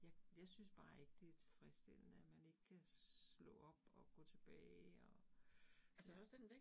Jeg jeg synes bare ikke, det tilfredsstilende, at man ikke kan slå op og gå tilbage og ja